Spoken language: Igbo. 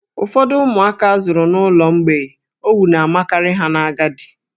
Ụfọdụ ụmụaka a zụrụ n'ụlọ mgbei, owu na-amakarị ha n'agadi.